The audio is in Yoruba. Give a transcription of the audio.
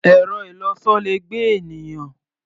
Ẹ̀rọ-ìlọsọ le gbé ènìyàn.